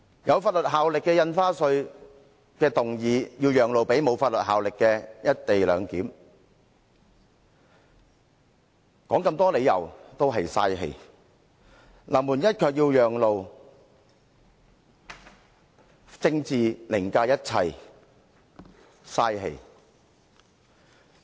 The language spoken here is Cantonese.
有法律效力的《條例草案》要讓路予沒有法律效力的"一地兩檢"議案，說再多理由也是浪費氣力；臨門一腳要讓路，政治凌駕一切，浪費氣力。